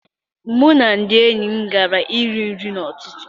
Mụ na ndị enyi m gara iri nri n'ụtụtụ.